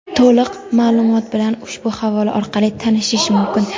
To‘liq maʼlumot bilan ushbu havola orqali tanishish mumkin.